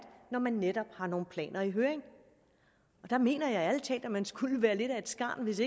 når man netop har nogle planer i høring der mener jeg ærlig talt at man skulle være lidt af et skarn hvis